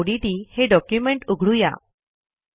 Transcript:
resumeओडीटी हे डॉक्युमेंट उघडू या